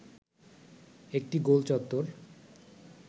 একটি গোল চত্বর